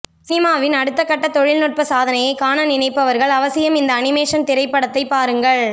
சினிமாவின் அடுத்தக் கட்ட தொழில்நுட்பசாதனையைக் காண நினைப்பவர்கள் அவசியம் இந்த அனிமேஷன் திரைப்படத்தை பாருங்கள்